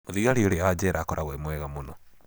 Mũthigari ũrĩa wa njera akoragũo e mwega mũno.